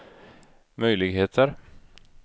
möjligheter